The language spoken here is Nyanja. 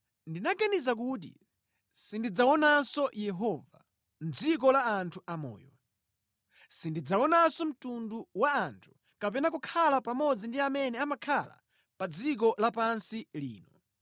Ndinaganiza kuti, “Sindidzaonanso Yehova, mʼdziko la anthu amoyo, sindidzaonanso mtundu wa anthu kapena kukhala pamodzi ndi amene amakhala pa dziko lapansi lino.